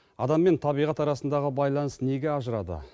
адам мен табиғат арасындағы байланыс неге ажырады